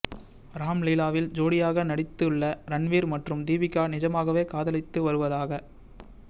ராம் லீலாவில் ஜோடியாக நடித்துள்ள ரன்வீர் மற்றும் தீபிகா நிஜமாகவே காதலித்து வருவதாக